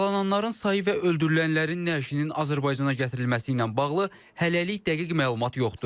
Yaralananların sayı və öldürülənlərin nəşinin Azərbaycana gətirilməsi ilə bağlı hələlik dəqiq məlumat yoxdur.